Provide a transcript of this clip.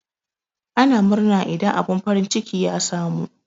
Ana murna idan abun farin ciki ya samu.